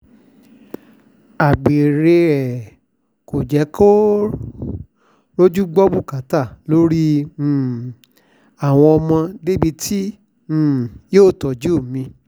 àgbèrè ẹ̀ kò sì jẹ́ kó rojú gbọ́ bùkátà lórí um àwọn ọmọ débi tí um yóò tọ́jú mi